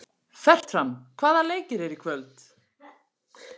Fertram, hvaða leikir eru í kvöld?